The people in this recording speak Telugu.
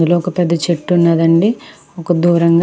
ఇందులో ఒక పెద్ద చెట్టు ఉన్నది అండి. ఒక దూరంగా --